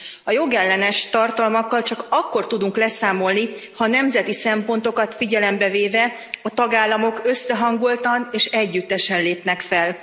A jogellenes tartalmakkal csak akkor tudunk leszámolni, ha nemzeti szempontokat figyelembe véve a tagállamok összehangoltan és együttesen lépnek fel.